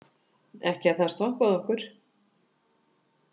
Ekki að það stoppaði okkur.